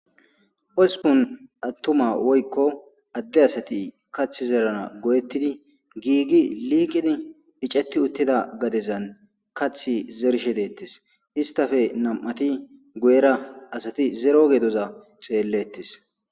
Hosupun attuma woykko adde asati kath zerana go7ettidi giigi liikin iceti uttida gadezan kath zershe deettes istafe nam7ati go7era asati zero geedoza xeellettes.